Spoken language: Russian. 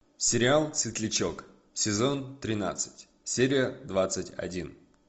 сериал светлячок сезон тринадцать серия двадцать один